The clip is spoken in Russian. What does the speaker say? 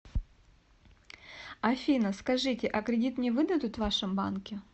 афина скажите а кредит мне выдадут в вашем банке